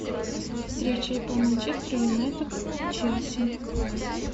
встреча апл манчестер юнайтед и челси